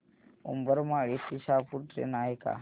उंबरमाळी ते शहापूर ट्रेन आहे का